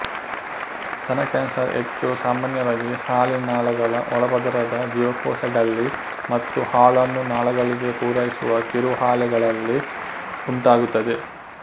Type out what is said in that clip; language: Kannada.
ಸ್ತನ ಕ್ಯಾನ್ಸರ್ ಹೆಚ್ಚು ಸಾಮಾನ್ಯವಾಗಿ ಹಾಲಿನ ನಾಳಗಳ ಒಳಪದರದ ಜೀವಕೋಶಗಳ್ಳಿ ಮತ್ತು ಹಾಲನ್ನು ನಾಳಗಳಿಗೆ ಪೂರೈಸುವ ಕಿರುಹಾಲೆಗಳಲ್ಲಿ ಉಂಟಾಗುತ್ತದೆ